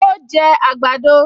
Ó jẹ àgbàdo